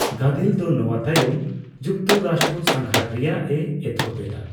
ᱜᱟᱫᱮᱞ ᱫᱚ ᱱᱚᱣᱟ ᱛᱟᱭᱚᱢ ᱡᱩᱠᱛᱚᱨᱟᱥᱴᱨᱚ ᱥᱟᱸᱜᱷᱟᱨ ᱨᱮᱭᱟᱜ ᱮ ᱮᱛᱚᱦᱚᱵ ᱮᱫᱟ ᱾